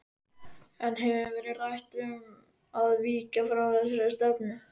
En hefur verið rætt um að víkja frá þessari stefnu?